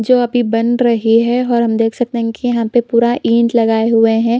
जो अभी बन रही है और हम देख सकते हैं कि यहाँ पे पूरा ईंट लगाए हुएं हैं।